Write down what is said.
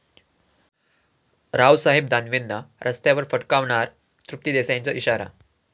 रावसाहेब दानवेंना रस्त्यावर फटकावणार, तृप्ती देसाईंचा इशारा